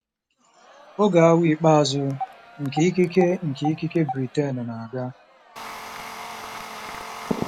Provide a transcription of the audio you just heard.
Oge awa ikpeazụ nke ikike nke ikike Britain na-aga.